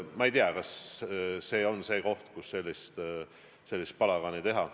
Ma ei tea, kas see on koht, kus võib sellist palagani teha.